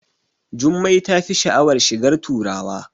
Jummai tafi sha'awar shigar turawa